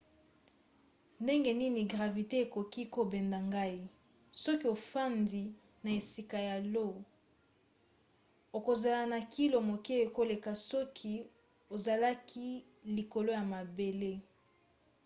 ndenge nini gravite ekoki kobenda ngai? soki ofandi na esika ya io okozala na kilo moke koleka soki ozalaki likolo ya mabele